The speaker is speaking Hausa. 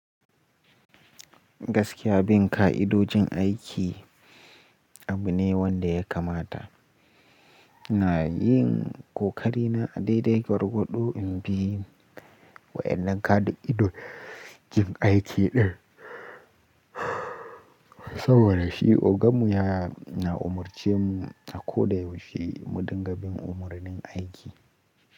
Gaskiya bin ka'idojin aiki abu ne wanda ya kamata. Ina yin kokari na a daidai gwargwado in bi wa'yannan ka'idojin aiki ɗin saboda shi ogan mu yana umurce mu a ko da yaushe mu dinga bin umarnin aiki.